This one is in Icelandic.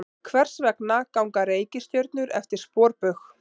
Hvers vegna ganga reikistjörnur eftir sporbaug?